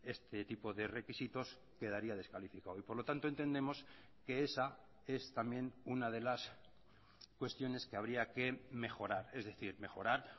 este tipo de requisitos quedaría descalificado y por lo tanto entendemos que esa es también una de las cuestiones que habría que mejorar es decir mejorar